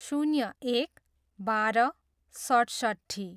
शून्य एक, बाह्र, सठसट्ठी